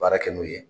Baara kɛ n'u ye